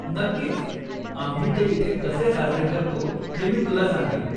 नक्कीच! आम्ही ते इथे कसे साजरे करतो हे मी तुला सांगेन.